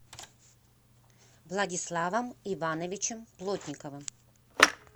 владиславом ивановичем плотниковым